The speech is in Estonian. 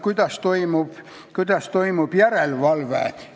Ja nimelt: kuidas toimub järelevalve.